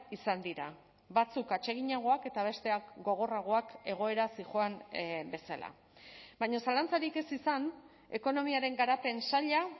izan dira batzuk atseginagoak eta besteak gogorragoak egoera zihoan bezala baina zalantzarik ez izan ekonomiaren garapen saila